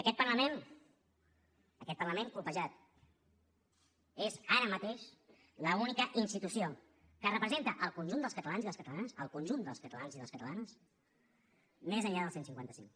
aquest parlament aquest parlament colpejat és ara mateix l’única institució que representa el conjunt dels catalans i les catalanes el conjunt dels catalans i les catalanes més enllà del cent i cinquanta cinc